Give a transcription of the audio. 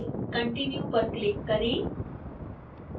continue पर click करें